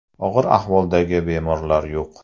Og‘ir ahvoldagi bemorlar yo‘q.